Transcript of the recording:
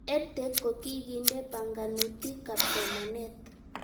EdTech ko kikindee panganutik ab somanet